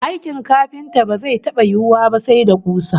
Aikin kafinta ba zai taba yiwuwa ba sai da kusa